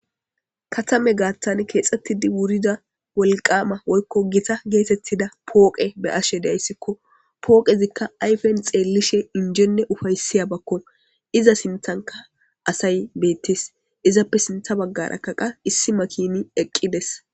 Katame gaattan keexxettidi wurida wolqaama woykko gita geetettida pooqe be ashe deayssikko pooqezikka ayfen xeellishe injenne ufayssiya bakko iza sinthanka asay beettes izappe sintha baggara kaqa issi makini eqqides.